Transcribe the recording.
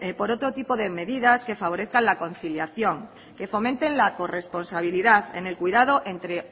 por otro tipo de medidas que favorezcan la conciliación que fomenten la corresponsabilidad en el cuidado entre